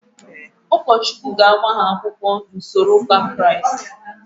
Ụkọchukwu ga-agba ha akwụkwọ n'usoro ụka Kraịst.